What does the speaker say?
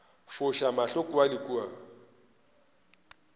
foša mahlo kua le kua